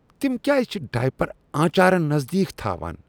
تم کیٛاز چھِ ڈایپر آنچارن نزدیك تھاوان؟